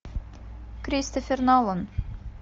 кристофер нолан